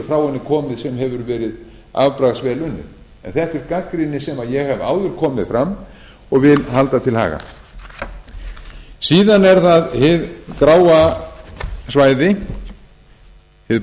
frá henni komið sem hefur verið afbragðsvel unnið en þetta er gagnrýni sem ég hef áður komið með fram og vil halda til haga síðan er það hið gráa svæði hið